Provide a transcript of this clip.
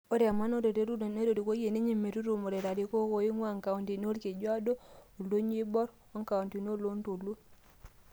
Ore emanaroto e Ruto netorikoia ninye metutumore larikok oingua inkauntini Olkejuado, Oldonyio Oibor o nkauntini oloontoluo.